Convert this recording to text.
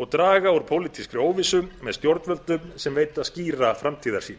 og draga úr pólitískri óvissu með stjórnvöldum sem veita skýra framtíðarsýn